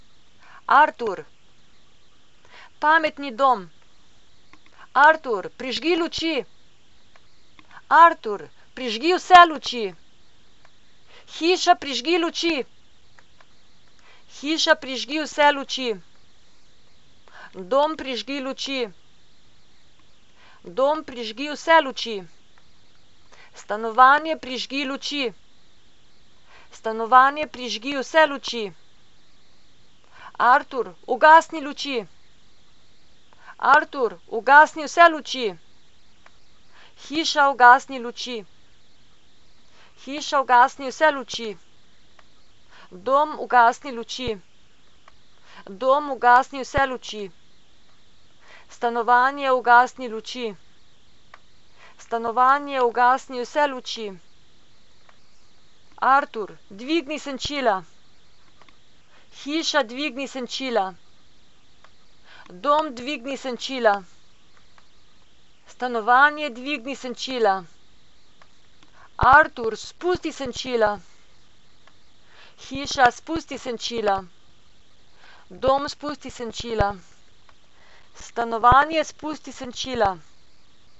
Artur. Pametni dom. Artur, prižgi luči. Artur, prižgi vse luči. Hiša, prižgi luči. Hiša, prižgi vse luči. Dom, prižgi luči. Dom, prižgi vse luči. Stanovanje, prižgi luči. Stanovanje, prižgi vse luči. Artur, ugasni luči. Artur, ugasni vse luči. Hiša, ugasni luči. Hiša, ugasni vse luči. Dom, ugasni luči. Dom, ugasni vse luči. Stanovanje, ugasni luči. Stanovanje, ugasni vse luči. Artur, dvigni senčila. Hiša, dvigni senčila. Dom, dvigni senčila. Stanovanje, dvigni senčila. Artur, spusti senčila. Hiša, spusti senčila. Dom, spusti senčila. Stanovanje, spusti senčila.